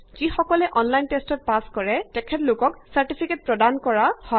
যিকসকলে online টেষ্টত pass কৰে তেওঁলোকক চাৰ্টিফিকেট দিয়ে